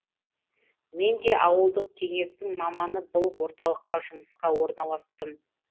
мен де ауылдық кеңестің маманы болып орталыққа жұмысқа орналастым